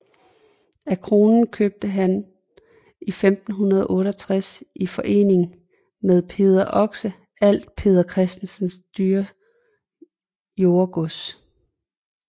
Af kronen købte han i 1568 i forening med Peder Oxe alt Peder Christensen Dyres jordegods